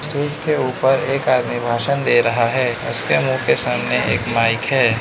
Stage ऊपर एक आदमी भाषण दे रहा है उसके मुंह के सामने एक माइक है।